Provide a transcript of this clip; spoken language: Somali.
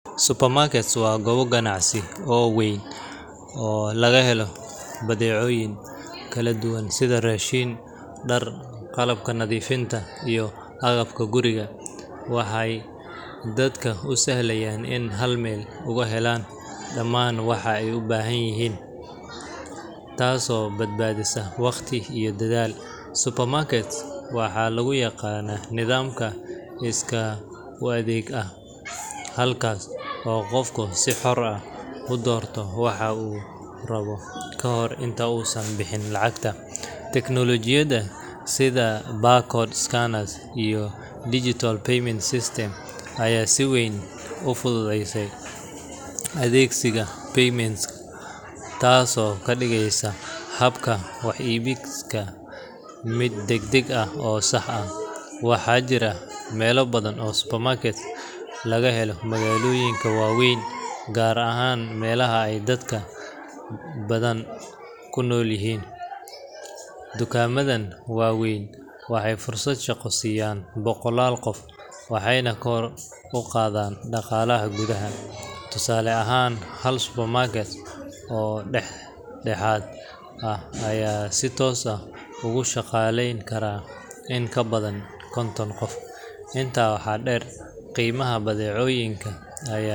Supermarkets waa goobo ganacsi oo weyn oo laga helo badeecooyin kala duwan sida raashin, dhar, qalabka nadiifinta, iyo agabka guriga. Waxay dadka u sahlayaan inay hal meel uga helaan dhammaan waxa ay u baahan yihiin, taasoo badbaadisa waqti iyo dadaal. Supermarkets waxaa lagu yaqaanaa nidaamka iskaa-u-adeega ah, halkaas oo qofku si xor ah u doorto waxa uu rabo ka hor inta uusan bixin lacagta. Teknoolajiyadda sida barcode scanners iyo digital payment systems ayaa si weyn u fududaysay adeegsiga supermarkets, taasoo ka dhigaysa habka wax iibsiga mid degdeg ah oo sax ah. Waxaa jira meelo badan oo supermarkets laga helo magaalooyinka waaweyn, gaar ahaan meelaha ay dadka badani ku nool yihiin. Dukaamadan waaweyn waxay fursad shaqo siiyaan boqolaal qof, waxayna kor u qaadaan dhaqaalaha gudaha. Tusaale ahaan, hal supermarket oo dhexdhexaad ah ayaa si toos ah ugu shaqaaleyn kara in ka badan konton qof. Intaa waxaa dheer, qiimaha badeecooyinka ayaa.